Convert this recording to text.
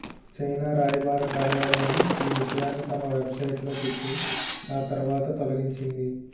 China రాయబార కార్యాలయం ఈ విషయాన్ని తమ వెబ్సైట్లో పెట్టి ఆ తరువాత తొలగించింది